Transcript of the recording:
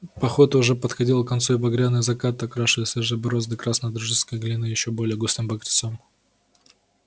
пахота уже подходила к концу и багряные закаты окрашивали свежие борозды красной джорджианской глины ещё более густым багрецом